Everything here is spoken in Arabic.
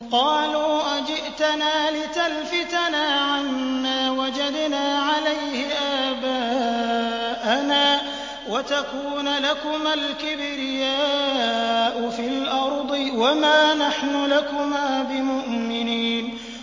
قَالُوا أَجِئْتَنَا لِتَلْفِتَنَا عَمَّا وَجَدْنَا عَلَيْهِ آبَاءَنَا وَتَكُونَ لَكُمَا الْكِبْرِيَاءُ فِي الْأَرْضِ وَمَا نَحْنُ لَكُمَا بِمُؤْمِنِينَ